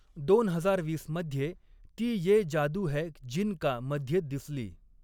दोन हजार वीस मध्ये ती ये जादू है जिन का मध्ये दिसली.